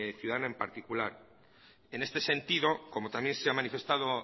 ciudadana en particular en este sentido como también se ha manifestado